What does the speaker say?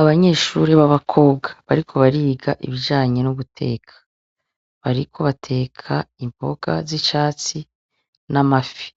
Abanyeshure b'abakobwa bariko bariga ibijanye no guteka, bariko bateka imboga z'icatsi n'amafi,